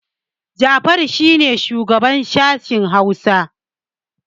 Jafaru shi ne shugana sashin Hausa